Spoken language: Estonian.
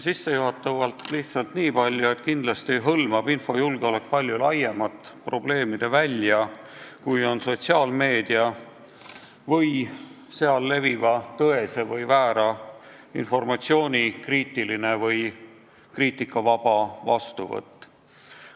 Sissejuhatavalt lihtsalt nii palju, et kindlasti hõlmab infojulgeolek palju laiemat probleemide välja, kui on sotsiaalmeedia ja seal leviva tõese või väära informatsiooni kriitiline või kriitikavaba vastuvõtt.